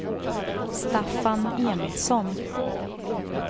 Staffan Emilsson